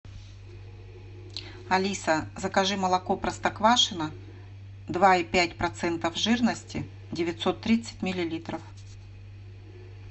алиса закажи молоко простоквашино два и пять процентов жирности девятьсот тридцать миллилитров